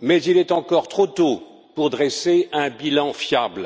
mais il est encore trop tôt pour dresser un bilan fiable